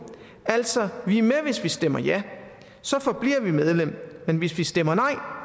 altså vi er med og hvis vi stemmer ja så forbliver vi medlem men hvis vi stemmer nej